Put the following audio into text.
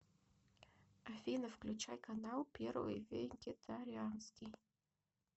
афина включай канал первый вегетарианский